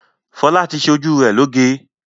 Fọlá ti ṣe ojú rẹ̀ lóge?